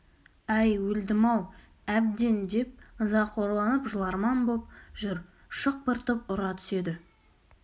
әй өлдім-ау әбден деп ызақорланып жыларман боп жүр шықпыртып ұра түседі